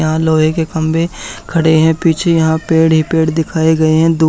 यहां लोहे के खंभे खड़े हैं पीछे यहां पेड़ ही पेड़ दिखाए गए हैं दो--